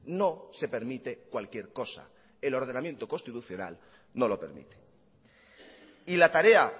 no se permite cualquier cosa el ordenamiento constitucional no lo permite y la tarea